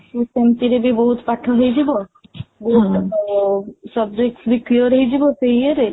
ସେମିତିରେ ବି ବହୁତ ପାଠ ହେଇଯିବ then subject ବି clear ହେଇଯିବ ସେଇ ଇଏରେ